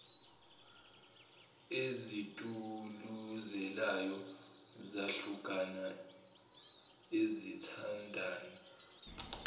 ezituluzelayo zahlukana izithandani